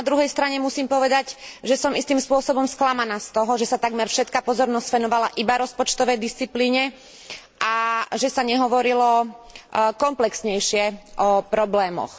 Ale na druhej strane musím povedať, že som istým spôsobom sklamaná z toho, že sa takmer všetka pozornosť venovala iba rozpočtovej disciplíne a že sa nehovorilo komplexnejšie o problémoch.